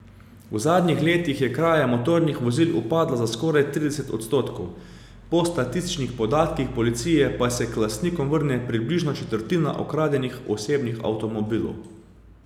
V zadnjih letih je kraja motornih vozil upadla za skoraj trideset odstotkov, po statističnih podatkih policije pa se k lastnikom vrne približno četrtina ukradenih osebnih avtomobilov.